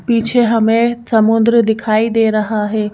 पीछे हमें समुद्र दिखाई दे रहा है।